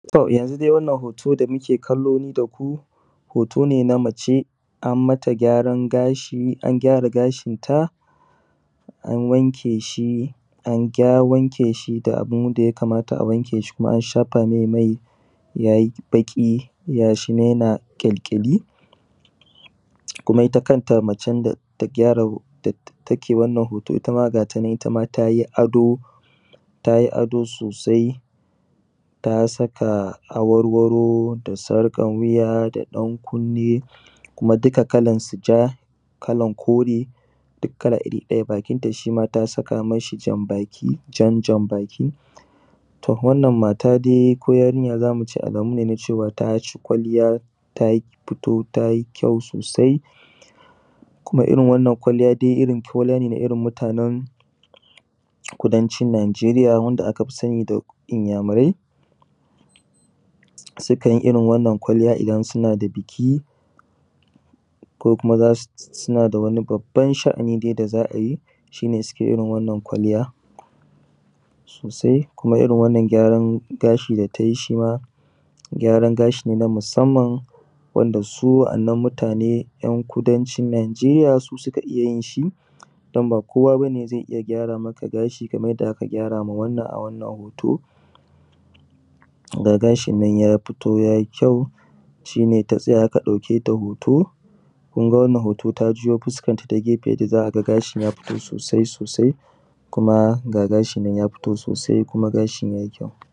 A wannan hoto da nake kallo nida ku hotone na mace ammata gyaran gashi an gyara gashin ta a wankeshi da abunda ya kamata a wankshi an shafamai maiyayi baƙi gashinan yana kyalkyali kuma itta kanta macen da take wannan hoto ittama gatanan tayi ado tayi ado sosai ta saka awarwaro da sarƙan wuya da ɗan kunni kuma duka kalansu ja, kalan kore dukkala irri ɗaya bakinta shima ta saka mishi janbaki, jan janbaki. Wannan mata dai ko yarinya zamu ce alamu ne dai taci kwalliya tafito tayi kyau sosai, kuma irrin wannan kwaliya irrin tolene na mutanen kudancin nageriya wanda akafi sani da inyamurai sukanyi irrin wannan kwalliya idan suna da biki ko kuma suna dai baban sha’ani da az’ayi sukanyi irrin wannan kwalliya sosai. Kuma irrin wannan gyarna gashi da tayi gyaran gashine na musamman wanda su wa’annan mutane ‘yan’ kudancin najeriya su suka fiyin irrin shi danba kowa bane zai iyya gyara maka gashi Kaman yanda aka gyara a wannan hoto, ga gasjinnan ya fito yayi kyau shine ta tsaya aka ɗauketa hoto kunga wannan hoto ta juyo fuskanta ta gefe yayi kyau sosai sosaikuma ga gashinnan ya fito sosai kuma gashin yayi kyau.